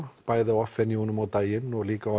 bæði á off venueunum á daginn og líka á